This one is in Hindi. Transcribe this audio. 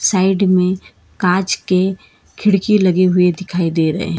साईड में कांच के खिड़की लगी हुई दिखाई दे रहे है।